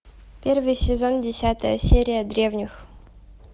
первый сезон десятая серия древних